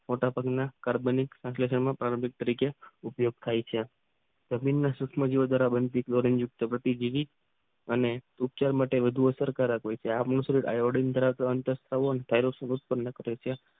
મોટા પગના કાર્બનિક એટલે ત્રાંબિક તરીકે ઉપયોગ હય છે સુક્ષ્મો જીવો દ્વારા બનતી વિવિધ અને ઊંખ્ય માટે રજુઆત આ ઓડીયમ ધરાવતો